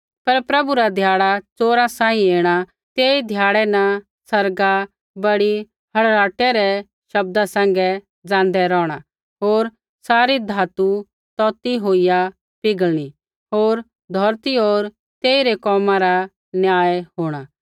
पर प्रभु रा ध्याड़ा च़ोरा सांही ऐणा तेई ध्याड़ै न आसमान बड़ी हड़हड़ाहटै शब्दा सैंघै ज़ाँदै रौहणा होर सारी धातु तौतै होईया पिघलणी होर धौरती होर तेइरै कोमा रा न्याय होंणा